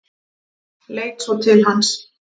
Leit svo til hans.